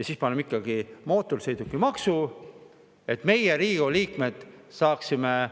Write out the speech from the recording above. Siis ikkagi mootorsõidukimaksu, et meie, Riigikogu liikmed, saaksime